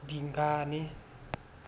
dingane